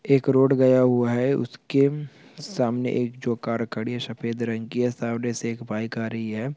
एक रोड गया हुआ है उस के सामने एक जो कार खड़ी है सफेद रंग की सामने से एक बाइक आ रही है।